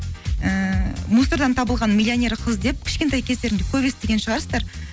ііі мусордан табылған миллионер қыз деп кішкентай кездеріңде көп естіген шығарсыздар